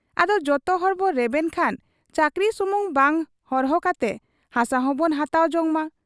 ᱟᱫᱚ ᱡᱚᱛᱚᱦᱚᱲ ᱵᱚ ᱨᱮᱵᱮᱱ ᱠᱷᱟᱱ ᱪᱟᱹᱠᱨᱤ ᱥᱩᱢᱩᱝ ᱵᱟᱝ ᱦᱚᱨᱦᱚ ᱠᱟᱛᱮ ᱦᱟᱥᱟ ᱦᱚᱸᱵᱚᱱ ᱦᱟᱛᱟᱣ ᱡᱚᱝ ᱢᱟ ᱾